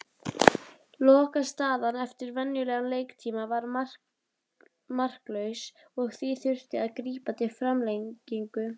Lokastaðan eftir venjulegan leiktíma var marklaus og því þurfti að grípa til framlengingu.